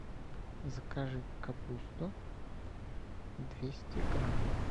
закажи капусту двести граммов